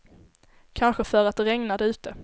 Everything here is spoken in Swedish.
Kanske för att det regnade ute.